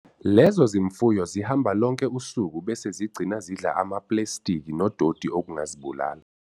Lezo zimfuyo zihamba lonke usuku bese zigcina zidla amaplestiki nododi okungazibulala.